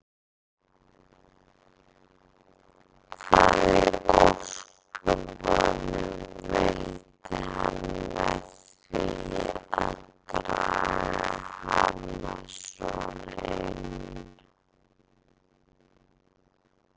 Hvað í ósköpunum vildi hann með því að draga hana svona inn.